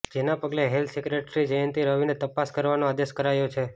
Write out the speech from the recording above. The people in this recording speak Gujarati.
જેના પગલે હેલ્થ સેક્રેટરી જયંતી રવિને તપાસ કરવાનો આદેશ કરાયો છે